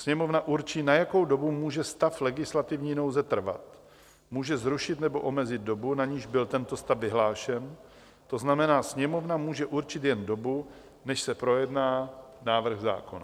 Sněmovna určí, na jakou dobu může stav legislativní nouze trvat, může zrušit nebo omezit dobu, na niž byl tento stav vyhlášen, to znamená, Sněmovna může určit jen dobu, než se projedná návrh zákona.